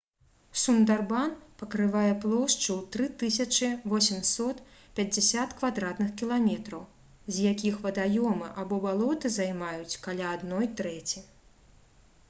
сундарбан пакрывае плошчу ў 3850 км² з якіх вадаёмы або балоты займаюць каля адной трэці